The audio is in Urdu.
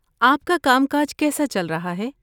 آپ کا کام کاج کیسا چل رہا ہے؟